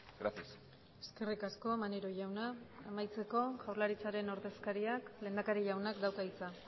gracias eskerrik asko maneiro jauna amaitzeko jaurlaritzaren ordezkariak lehendakari jaunak dauka hitza